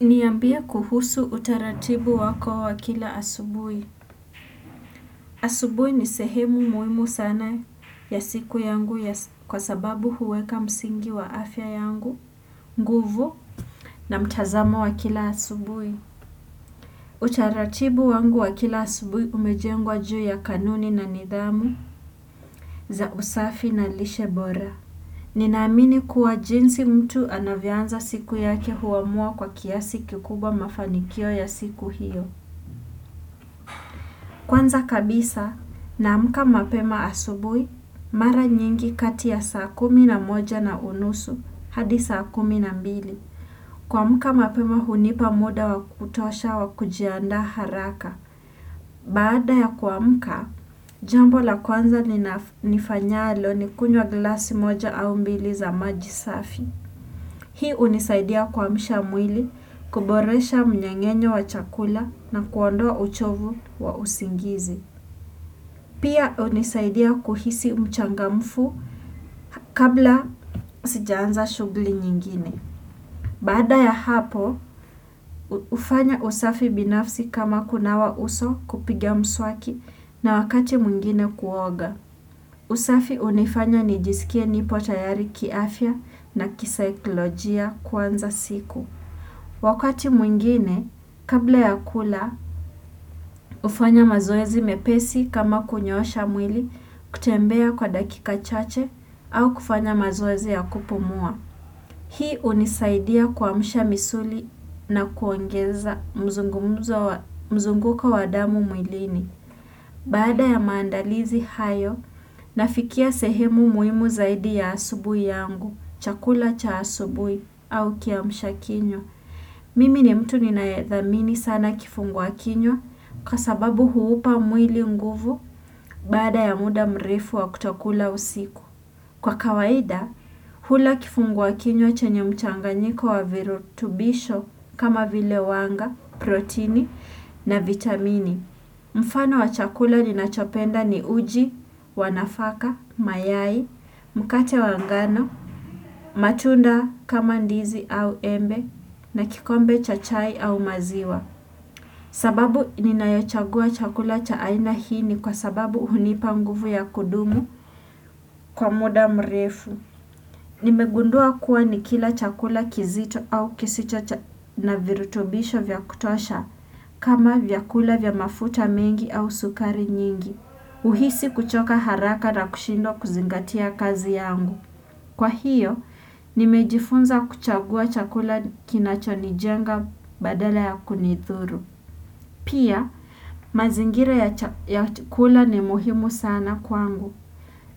Niambie kuhusu utaratibu wako wakila asubuhi. Asubuhi ni sehemu muhimu sana ya siku yangu kwa sababu huweka msingi wa afya yangu, nguvu na mtazamo wa kila asubuhi. Utaratibu wangu wakila asubuhi umejengwa juu ya kanuni na nidhamu za usafi na lishe bora. Ninaamini kuwa jinsi mtu anavyoanza siku yake huamua kwa kiasi kikubwa mafanikio ya siku hiyo. Kwanza kabisa naamka mapema asubuhi mara nyingi kati saa kumi na moja na unusu hadi saa kumi na mbili. Kuamuka mapema hunipa muda wa kutosha wa kujiandaa haraka. Baada ya kuamka, jambola kwanza ni nifanyalo ni kunwa glasi moja au mbili za maji safi. Hii unisaidia kuamsha mwili, kuboresha mnyengenyo wa chakula na kuondoa uchovu wa usingizi. Pia hunisaidia kuhisi mchangamfu kabla sijaanza shughli nyingine. Baada ya hapo, hufanya usafi binafsi kama kunawa uso kupiga mswaki na wakati mungine kuoga. Usafi hunifanya nijisikie nipo tayari kiafya na kisaikilojia kwanza siku. Wakati mwingine, kabla ya kula, hufanya mazoezi mepesi kama kunyoosha mwili kutembea kwa dakika chache au kufanya mazoezi ya kupumua. Hii hunisaidia kuamshaomisuli na kuongeza mzunguka wa damu mwilini. Baada ya maandalizi hayo, nafikia sehemu muhimu zaidi ya asubui yangu, chakula cha asubuhi, au kiamshakinywa. Mimi ni mtu ninayedhamini sana kifungwa kinywa kwa sababu huupa mwili nguvu baada ya muda mrefu wa kutokula usiku. Kwa kawaida, hula kifungua kinyo chenye mchanga nyiko wa virutubisho kama vile wanga, protini na vitamini. Mfano wa chakula ninachopenda ni uji, wanafaka, mayai, mkate wa ngano, matunda kama ndizi au embe na kikombe cha chai au maziwa. Sababu ninayachagua chakula cha aina hii ni kwa sababu hunipa mguvu ya kudumu kwa muda mrefu. Nimegundua kuwa nikila chakula kizito au kisicha na virutobisho vyakutosha kama vyakula vya mafuta mengi au sukari nyingi. Uhisi kuchoka haraka na kushindo kuzingatia kazi yangu. Kwa hiyo, nimejifunza kuchagua chakula kinachonijenga badala ya kunithuru. Pia, mazingira ya chakula ni muhimu sana kwangu.